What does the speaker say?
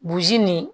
nin